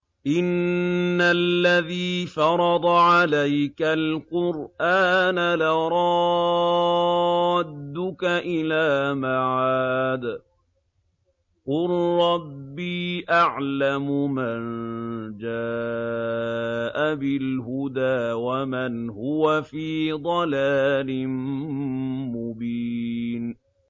إِنَّ الَّذِي فَرَضَ عَلَيْكَ الْقُرْآنَ لَرَادُّكَ إِلَىٰ مَعَادٍ ۚ قُل رَّبِّي أَعْلَمُ مَن جَاءَ بِالْهُدَىٰ وَمَنْ هُوَ فِي ضَلَالٍ مُّبِينٍ